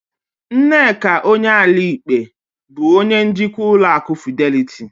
Nneka Onyeali-Ikpe bụ onye njikwa ụlọ akụ Fideliti